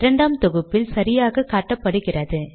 இரண்டாம் தொகுப்பில் சரியாக காட்டுகிறது